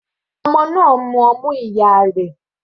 Ọmọ náà ń mú ọmú ìyá rẹ̀.